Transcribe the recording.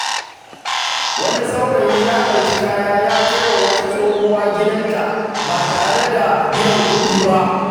Wani saurayi ya ɗauki kaya ya kai wa wata tsohuwa gidanta ba tare da biyan kuɗi ba.